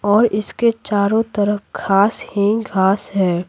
और इसके चारों तरफ घास ही घास है।